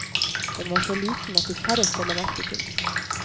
Den var så liten at de færreste la merke til den.